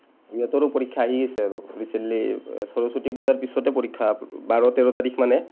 সিহঁতৰো পৰীক্ষা আহি আছে আৰু। recently সৰস্বতী পূজাৰ পিছতে পৰীক্ষা। বাৰ, তেৰ তাৰিখ মানে